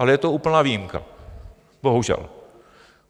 Ale je to úplná výjimka, bohužel.